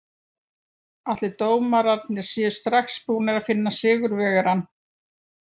En ætli dómararnir séu strax búnir að finna sigurvegarann?